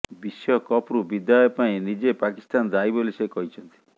ବିଶ୍ବକପ୍ରୁ ବିଦାୟ ପାଇଁ ନିଜେ ପାକିସ୍ତାନ ଦାୟୀ ବୋଲି ସେ କହିଛନ୍ତି